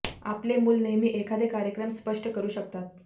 आपले मुल नेहमी एखादे कार्यक्रम स्पष्ट करू शकतात